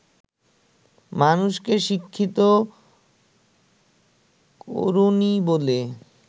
মানুষকে শিক্ষিত করোনি বলে